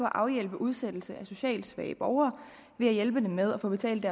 afhjælpe udsættelse af socialt svage borgere og hjælpe dem med at få betalt